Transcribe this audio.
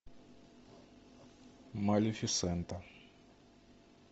малефисента